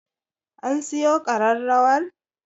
An siyo ƙararrawar?